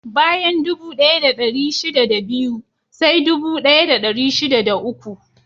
Bayan dubu ɗaya da ɗari shida da biyu, sai dubu ɗaya da dari shida da uku.